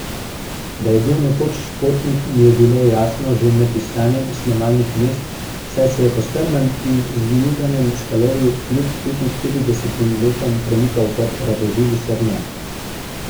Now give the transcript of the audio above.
Da je bil nekoč športnik, mi je bilo jasno že med iskanjem snemalnih mest, saj se je po strmem in zvijuganem skalovju kljub petinšestdesetim letom premikal kot radoživi srnjak.